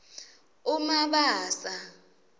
umabasa